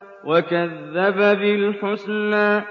وَكَذَّبَ بِالْحُسْنَىٰ